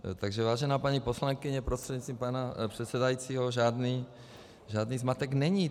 Takže vážená paní poslankyně prostřednictvím pana předsedajícího, žádný zmatek není.